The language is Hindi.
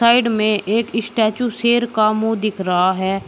साइड में एक स्टैचू शेर का मुंह दिखे रहा है।